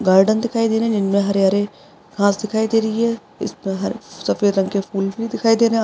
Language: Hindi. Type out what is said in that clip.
गार्डन दिखाई दे रहा है जीनमे हरे हरे घास दिखाई दे रही है इसपर ह सफ़ेद रंग के फुल भी दिखाई दे रहे है।